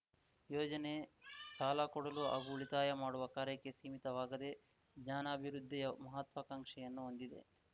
ಯೋಜನೆ ಸಾಲಕೊಡಲು ಹಾಗೂ ಉಳಿತಾಯ ಮಾಡುವ ಕಾರ್ಯಕ್ಕೆ ಸೀಮಿತವಾಗದೆ ಜ್ಞಾನಾಭಿವೃದ್ಧಿಯ ಮಹಾತ್ವಾಂಕ್ಷೆಯನ್ನು ಹೊಂದಿದೆ